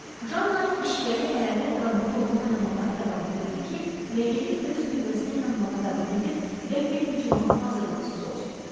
Janna işvəli əyalət qadını rolunu oynamağa davam edirdi ki, rəqibi öz qüvvəsinə inanmağa davam edib qəfil hücuma hazırlıqsız olsun.